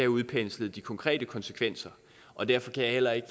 udpenslet de konkrete konsekvenser og derfor kan jeg heller ikke